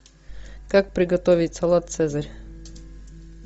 как приготовить салат цезарь